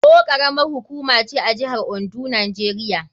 Owo karamar hukuma ce a jihar Ondo, Najeriya.